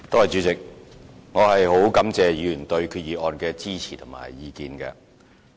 主席，我感謝議員對決議案的支持及意見。